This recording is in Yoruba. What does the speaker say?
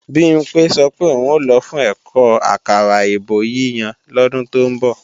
Bimpé sọ pé òun ò lọ fún ẹ̀kọ́ àkàrà èbó yíyan lọ́dún tó ń bọ̀